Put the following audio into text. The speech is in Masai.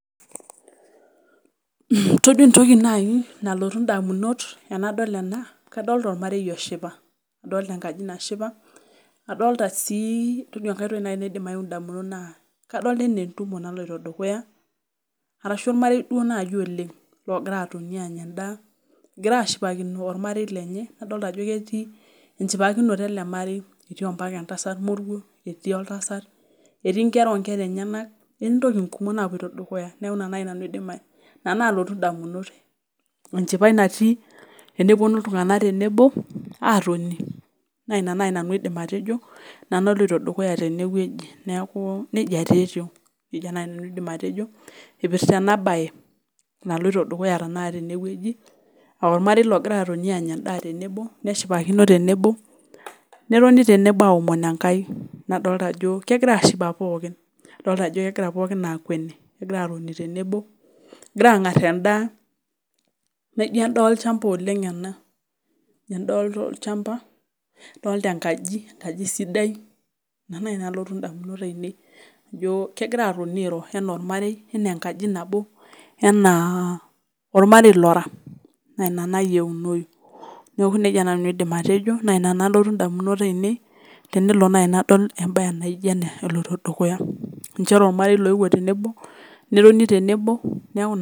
Todua naaji nalotu indamunot tenadol ena kadolita enaa ormare oshipa kadolita enaa entumo naloito dukuya arashuu ormare duo naaji oleng logiraa aatoni aanya endaa ketii ompaka entasat moruo ketii ompaka oltasat etii inkera onkera enyanak etii intokitin kumok naaloito dukuya tene enchipai natii tenepuono iltung'anak aatoni neeku nejia nanu ajo nejia naaji aidim atejo eipirta ena baye naloito dukuya tene wueji aarmarei logiraa atoni aanya endaa tenebo netoni aashipa aaomon enkai kegiraa ashipa pookin dol ajo kegira aakueni pooki egira aang'ar endaa naijio endaa olchamba oleng ena adolita enkaji enkaji sidai ore enakotu indamunot ainei kegira atoni airo ena ormarei enaa enkaji nabo enaa ormarei lora naa ina loyieunou naa ina aidim atejo naa ina naloti indamunot aainei tenelo naaji nadol embaye naaijio ena ormarei ooeuo tenebo netoni tenebo.